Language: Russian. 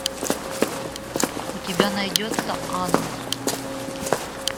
у тебя найдется анон